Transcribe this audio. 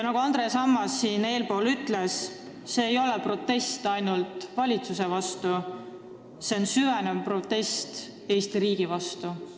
Nagu Andres Ammas ütles, see ei ole protest ainult valitsuse vastu, see on süvenev protest Eesti riigi vastu.